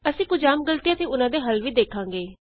ਅਸੀਂ ਕੁਝ ਆਮ ਗ਼ਲਤੀਆਂ ਅਤੇ ਉਹਨਾਂ ਦੇ ਹੱਲ ਵੀ ਦੇਖਾਂਗੇ